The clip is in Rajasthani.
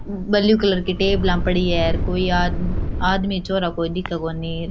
ब्लू कलर की टेबलां पड़ी है अर कोई आदमी छोरा कोई दिखे कोणी अर।